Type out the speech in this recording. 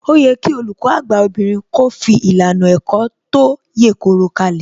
Ó yẹ kí Olùkọ́ àgbà obìnrin kó fi ìlànà ẹ̀kọ́ tó yèkoro kalẹ̀